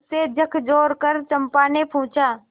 उसे झकझोरकर चंपा ने पूछा